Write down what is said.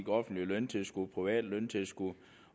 offentlige løntilskud private løntilskud